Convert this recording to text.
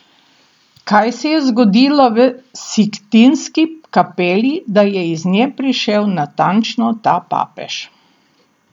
Kaj se je zgodilo v Sikstinski kapeli, da je iz nje prišel natančno ta papež?